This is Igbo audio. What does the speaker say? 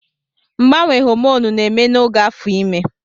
Mgbanwe hòmònụ na-eme n'oge afọ imé